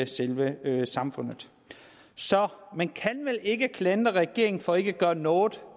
selve samfundet så man kan vel ikke klandre regeringen for ikke at gøre noget